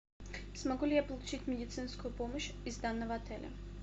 смогу ли я получить медицинскую помощь из данного отеля